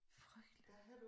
Frygteligt